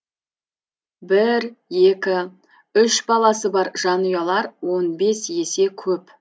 бір екі үш баласы бар жанұялар он бес есе көп